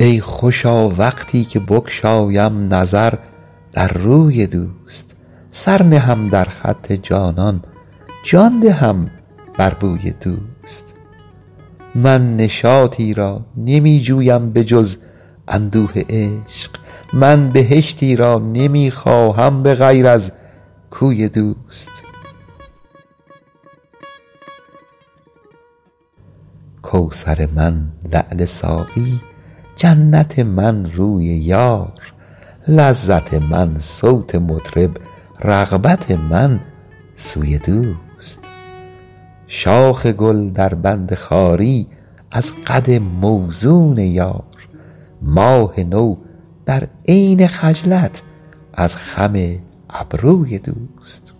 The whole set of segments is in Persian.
ای خوشا وقتی که بگشایم نظر در روی دوست سر نهم در خط جانان جان دهم بر بوی دوست من نشاطی را نمی جویم به جز اندوه عشق من بهشتی را نمی خواهم به غیر از کوی دوست کوثر من لعل ساقی جنت من روی یار لذت من صوت مطرب رغبت من سوی دوست شاخ گل در بند خواری از قد موزون یار ماه نو در عین خجلت از خم ابروی دوست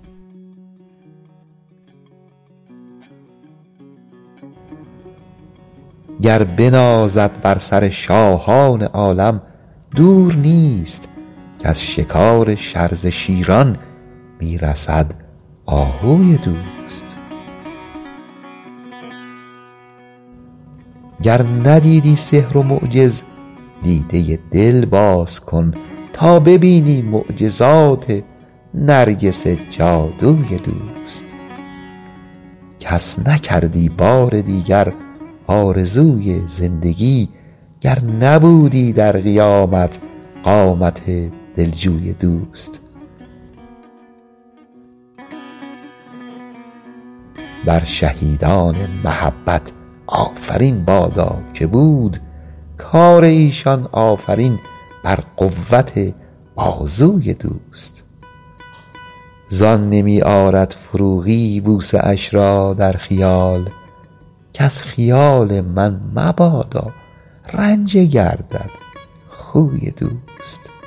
گر بنازد بر سر شاهان عالم دور نیست کز شکار شرزه شیران می رسد آهوی دوست گر ندیدی سحر و معجز دیده دل باز کن تا ببینی معجزات نرگس جادوی دوست کس نکردی بار دیگر آرزوی زندگی گر نبودی در قیامت قامت دل جوی دوست بر شهیدان محبت آفرین بادا که بود کار ایشان آفرین بر قوت بازوی دوست زان نمی آرد فروغی بوسه اش را در خیال کز خیال من مبادا رنجه گردد خوی دوست